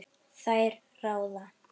Þær ráða.